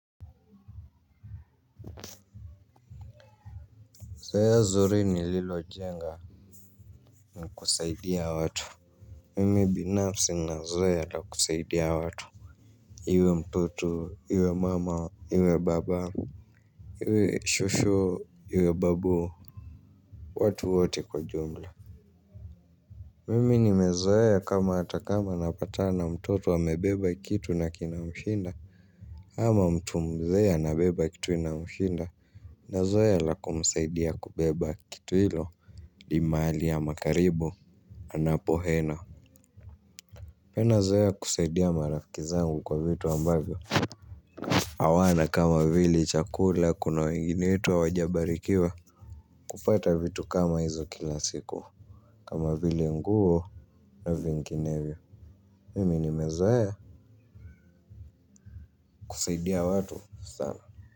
Zoea zuri ni lilo jenga ni kusaidia watu. Mimi binafsi nna zoeya ya kusaidia watu. Iwe mtoto, iwe mama, iwe baba. Iwe shushu, iwe babu, watu wote kwa jumla. Mimi nime zoea kama hata kama napatana na mtoto a mebeba kitu na kina mshinda ama mtu mzee a na beba kitu ina mshinda. Na zoea la kumusaidia kubeba kitu hilo i maali ama karibo. Anapohena pena zoea kuseidia marafikizangu kwa vitu ambavyo awana kama vile chakula kuna wengine wetu hawajabarikiwa. Kupata vitu kama hizo kila siku. Kama vile nguo na vinginevyo. Mimi nimezoea kusaidia watu sana.